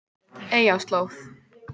Eyjarslóð